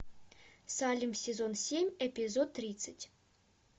салем сезон семь эпизод тридцать